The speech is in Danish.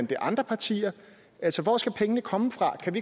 det er andre partier altså hvor skal pengene komme fra kan